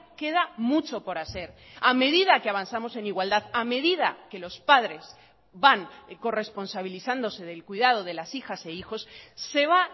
queda mucho por hacer a medida que avanzamos en igualdad a medida que los padres van corresponsabilizándose del cuidado de las hijas e hijos se va